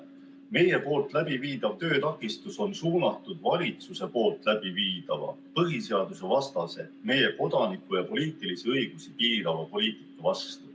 Meie läbiviidav töötakistus on suunatud valitsuse poolt läbiviidava põhiseadusvastase, meie kodaniku- ja poliitilisi õigusi piirava poliitika vastu.